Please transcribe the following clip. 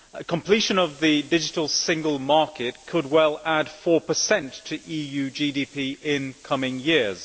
Completion of the digital single market could well add 4 to EU GDP in coming years.